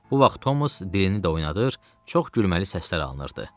Bu vaxt Thomas dilini də oynadır, çox gülməli səslər alınırdı.